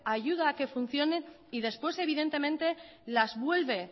ayuda a que funcionen y después evidentemente las vuelve